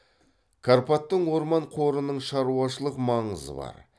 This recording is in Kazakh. карпаттың орман қорының шаруашылық маңызы бар